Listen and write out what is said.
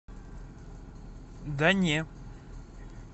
да не